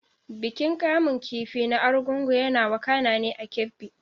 Bikin kamun kifi na Argungu yana wakana ne a Kebbi.